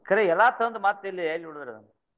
ಕರೆ ಎಲ್ಲಾ ತಂದ್ ಮತ್ ಇಲ್ಲೇ ಎಲ್ಲಿಡುದ್ರಿ ಆದ.